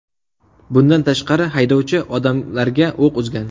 Bundan tashqari, haydovchi odamlarga o‘q uzgan.